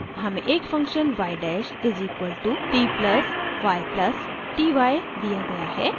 हमें एक function y dash is equal to t + y + ty दिया गया है